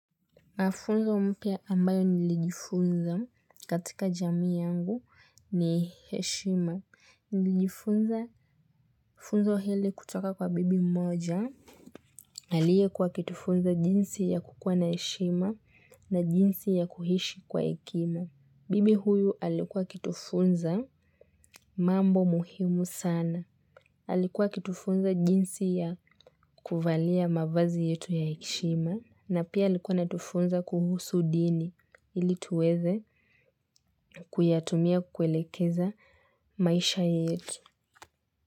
Mafunzo mpya ambayo nilijifunza katika jamii yangu ni heshima. Nilijifunza funzo hili kutoka kwa bibi mmoja. Aliekuwa akitufunza jinsi ya kukuwa na heshima na jinsi ya kuhishi kwa hekima. Bibi huyu alikuwa kitufunza mambo muhimu sana. Alikuwa akitufunza jinsi ya kuvalia mavazi yetu ya heshima. Na pia alikua anatufunza kuhusu dini ili tuweze, kuyatumia kuelekeza maisha yetu.